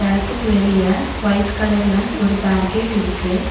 எடத்துக்கு வெளிய ஒயிட் கலர்ல ஒரு பேரிகேட் இருக்கு.